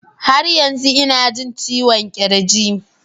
Har yanzu ina jin ciwon kirji